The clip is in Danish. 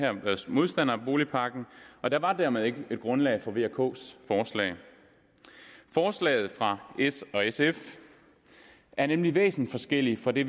modstandere af boligpakken og der var dermed ikke et grundlag for v og ks forslag forslaget fra s og sf er nemlig væsensforskelligt fra det